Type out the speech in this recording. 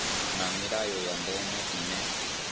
na milayo ya ndeme ine